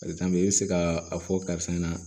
i bɛ se ka a fɔ karisa ɲɛna